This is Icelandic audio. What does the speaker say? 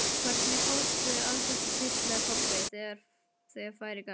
Hvernig fórstu að þessu, hvíslaði Kobbi, þegar færi gafst.